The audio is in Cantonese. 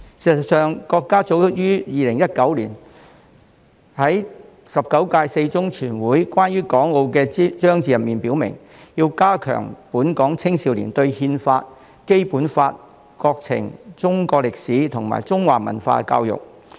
事實上，國家早於2019年在中共十九屆四中全會關於港澳的章節中已經表明，必須加強本港青少年對憲法、《基本法》、國情、中國歷史及中華文化的教育。